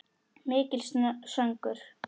Mikill söngur.